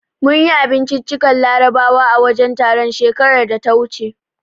Mun yi abinciccikan Larabawa a wajen taron, shekarar da ta wuce.